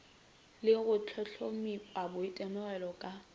le go hlohlomipa boitemogelo ka